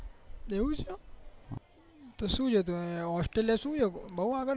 એવું છે તો સુ છે ત્યાં બહુ આગળ છે